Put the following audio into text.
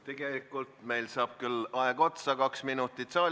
Tegelikult meil saab küll aeg otsa ...